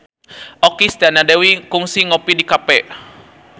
Okky Setiana Dewi kungsi ngopi di cafe